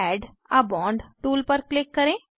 add a bond tool पर क्लिक करें